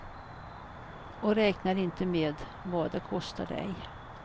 Och räknar inte med vad det kostar dig.